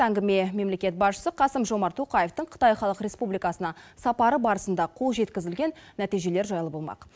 әңгіме мемлекет басшысы қасым жомарт тоқаевтың қытай халық республикасына сапары барысында қол жеткізілген нәтижелері жайлы болмақ